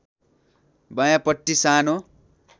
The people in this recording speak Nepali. बायाँपट्टी सानो